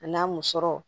A n'a musɔrɔ